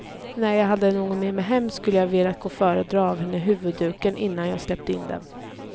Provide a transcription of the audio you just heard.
När jag hade någon med mig hem, skulle jag ha velat gå före och dra av henne huvudduken innan jag släppte in dem.